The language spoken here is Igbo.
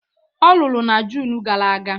Ọ lụrụ na June gara aga